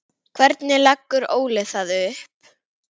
Hvernig leggur Óli það upp?